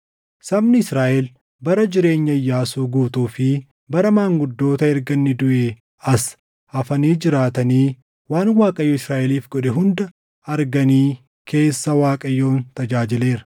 Sabni Israaʼel bara jireenya Iyyaasuu guutuu fi bara maanguddoota erga inni duʼee as hafanii jiraatanii waan Waaqayyo Israaʼeliif godhe hunda arganii keessa Waaqayyoon tajaajileera.